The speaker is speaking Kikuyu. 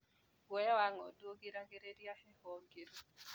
Guoya wa ng'ondu ũgiragĩrĩria heho ngĩru.